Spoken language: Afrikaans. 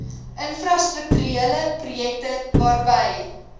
infrastrukturele projekte waarby